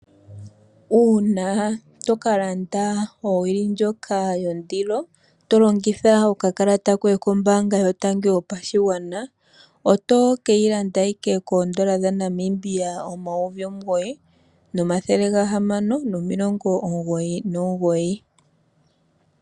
Uuna tokalanda owili ndjoka yondilo tolongitha okakalata koye kombaanga yotango yopashigwana, oto keyi landa ashike koodola dhaNamibia omayovi omugoyi nomathele gahamano nomilongo omugoyi nomugoyi.